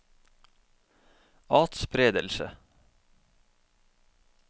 atspredelse